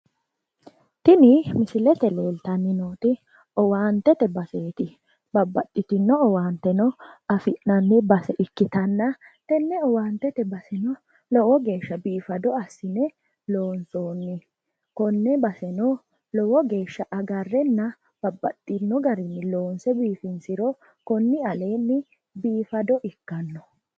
Tini misilete leeltanni nooti owaantete baseeti. Babbaxxitinno owaanteno afi'nanni base ikkitanna tenne owaantete baseno lowo geeshsha biifado assine loonsoonni. Konne baseno lowo geeshsha agarrenna babbaxxinno garinni loonse biifinsiro konni aleenni biifado ikkanno.